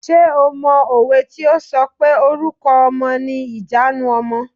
Ṣé o mọ òwe tí o sọ pé "Orúkọ ọmọ ni ìjanu ọmọ".